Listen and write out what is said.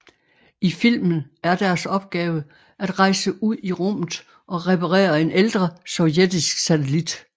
I filmen er deres opgave at rejse ud i rummet og reparere en ældre sovjetisk satellit